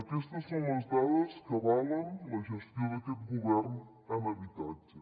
aquestes són les dades que avalen la gestió d’aquest govern en habitatge